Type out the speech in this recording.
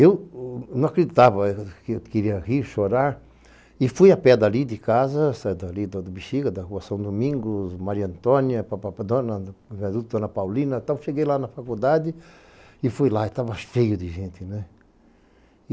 Eu não acreditava, eu queria rir, chorar, e fui a pé dali de casa, saí dali do Bixiga, da Rua São Domingos, Maria Antônia, dona adulta, dona Paulina, então cheguei lá na faculdade e fui lá, e tava cheio de gente, né?